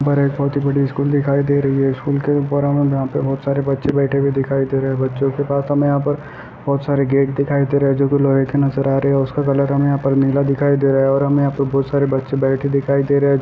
बोहोत ही बड़ी स्कूल दिखाई दे रही है| स्कूल के ऊपर बोहोत सारे बच्चे बैठे हुए दिखाई दे रहे हैं |बच्चों के पास हमें यहाँ पर बोहोत बहुत सारे गेट दिखाई दे रहे है जोकि लोहे के नजर आ रहे है और उसका कलर हमें यहाँ पर नीला दिखाई दे रहा और हमें यहाँ पे बहुत सारे बच्चे बैठे दिखाई दे रहे हैं।